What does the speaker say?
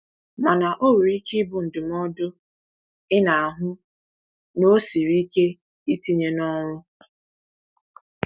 Mana ọ nwere ike ịbụ ndụmọdụ ị na-ahụ na ọ siri ike itinye n’ọrụ.